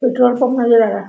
Petrol pump नजर आ रहा हैं ।